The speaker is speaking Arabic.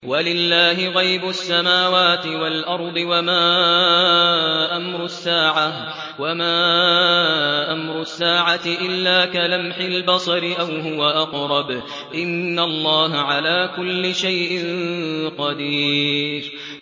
وَلِلَّهِ غَيْبُ السَّمَاوَاتِ وَالْأَرْضِ ۚ وَمَا أَمْرُ السَّاعَةِ إِلَّا كَلَمْحِ الْبَصَرِ أَوْ هُوَ أَقْرَبُ ۚ إِنَّ اللَّهَ عَلَىٰ كُلِّ شَيْءٍ قَدِيرٌ